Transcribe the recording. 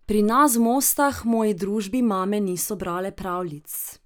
Pri nas v Mostah moji družbi mame niso brale pravljic.